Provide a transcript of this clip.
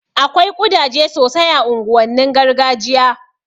Akwai ƙudaje sosai a unguwannin gargajiya